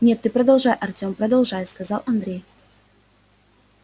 нет ты продолжай артем продолжай сказал андрей